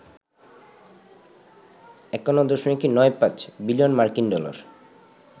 ৫১.৯৫ billion মার্কিন dollar